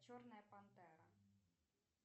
черная пантера